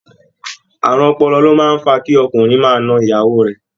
Àrùn ọpọlọ ló máa ń fa kí ọkùnrinrin máa na ìyàwó rẹ̀